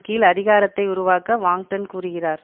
கீழ் அதிரகாரத்தை உருவாக்க வாங்டென் கூறுகிறார்